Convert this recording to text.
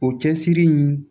O cɛsiri in